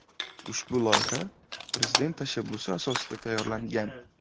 Ushbu loyiha Prezident tashabbusi asosida tayyorlangan.